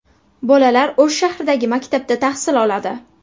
Bolalar O‘sh shahridagi maktabda tahsil oladi.